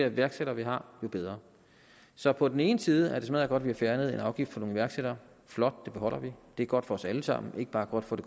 iværksættere vi har jo bedre så på den ene side er det smaddergodt at vi har fjernet en afgift for nogle iværksættere flot det beholder vi det er godt for os alle sammen ikke bare for det